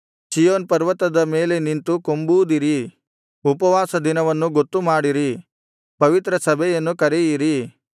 ಚೀಯೋನ್ ಪರ್ವತದ ಮೇಲೆ ನಿಂತು ಕೊಂಬೂದಿರಿ ಉಪವಾಸ ದಿನವನ್ನು ಗೊತ್ತುಮಾಡಿರಿ ಪವಿತ್ರ ಸಭೆಯನ್ನು ಕರೆಯಿರಿ